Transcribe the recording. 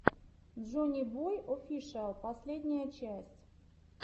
джоннибой офишиал последняя часть